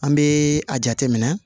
An bɛ a jateminɛ